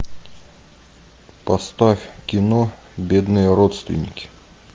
поставь кино бедные родственники